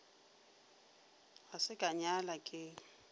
ga se ka nyala ke